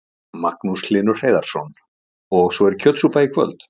Magnús Hlynur Hreiðarsson: Og svo er kjötsúpa í kvöld?